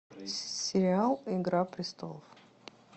сериал игра престолов